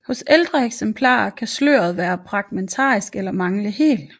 Hos ældre eksemplarer kan sløret være fragmentarisk eller mangle helt